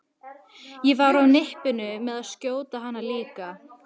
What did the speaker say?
Ég var á nippinu með að skjóta hana líka.